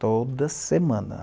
Toda semana.